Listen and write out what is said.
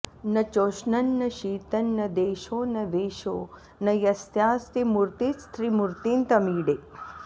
न चोष्णं न शीतं न देशो न वेषो न यस्यास्ति मूर्तिस्त्रिमूर्तिं तमीडे